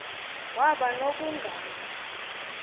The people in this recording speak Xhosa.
waba no bunganga